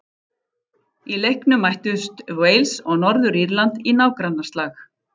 Í leiknum mættust Wales og Norður-Írland í nágrannaslag.